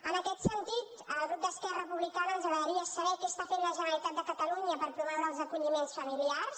en aquest sentit al grup d’esquerra republicana ens agradaria saber què està fent la generalitat de catalunya per promoure els acolliments familiars